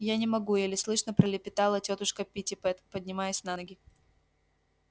я не могу еле слышно пролепетала тётушка питтипэт поднимаясь на ноги